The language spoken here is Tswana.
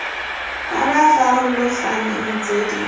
ba ba farologaneng tse di